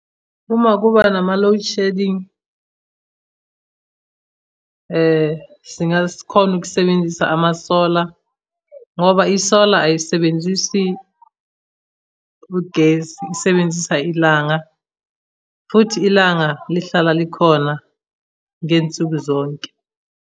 Uma kuba nama-load shedding, singakhona ukusebenzisa ama-solar, ngoba i-solar ayisebenzisi ugesi isebenzisa ilanga, futhi ilanga lihlala likhona ngey'nsuku zonke.